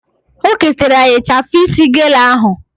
O ketara ya ịchafụ isi gele ahụ